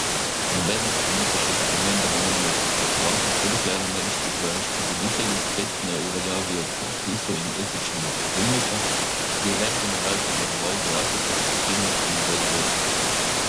Nobene korenitejše spremembe ne moremo pričakovati, vse dokler ameriški vojaški voditelji spet ne uveljavijo predpisov in etičnega pravilnika, ki je več generacij varoval vojake ter legitimnost in ugled vojske.